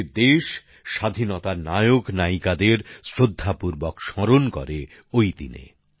আমাদের দেশ স্বাধীনতার নায়কনায়িকাদের শ্রদ্ধাপূর্বক স্মরণ করে ওই দিন